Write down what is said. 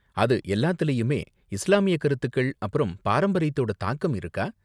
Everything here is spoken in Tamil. அது எல்லாத்துலயுமே இஸ்லாமிய கருத்துக்கள் அப்பறம் பாரம்பரியத்தோட தாக்கம் இருக்கா?